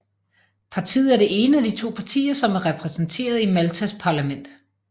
Partiet er det ene af de to partier som er repræsenteret i Maltas parlament